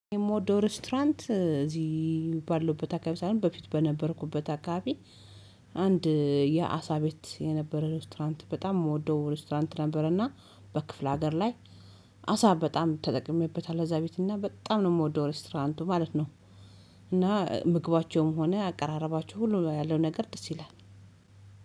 የምወደው ሬስቶራንት እዚህ ባለሁበት አካባቢ ሳይሆን በፊት በነበርኩበት አካባቢ አንድ የአሳ ቤት የነበረ ሬስቶራንት በጣም የምወደው ሬስቶራንት ነበረና በክፍለ ሀገር ላይ አሳ በጣም ተጠቅሜበታል እዛ ቤት እና በጣም ነው የምወደው ሬስቶራንቱ ማለት ነው። እና ምግባቸውም ሆነ አቀራረባቸው ሁሉ ያለው ነገር ደስ ይላል